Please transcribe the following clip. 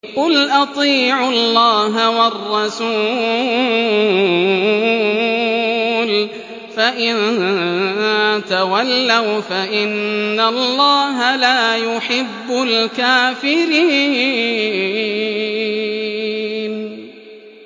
قُلْ أَطِيعُوا اللَّهَ وَالرَّسُولَ ۖ فَإِن تَوَلَّوْا فَإِنَّ اللَّهَ لَا يُحِبُّ الْكَافِرِينَ